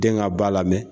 Den ka ba la mɛ